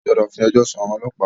A gbọ́dọ̀ fí ẹjọ́ sún àwọn ọlọ́pàá!